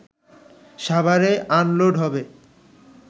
সাভারে আনলোড হবে